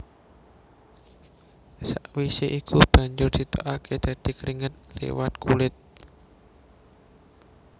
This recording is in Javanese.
Sawisé iku banjur ditokaké dadi kringet liwat kulit